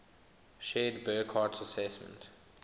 shared burckhardt's assessment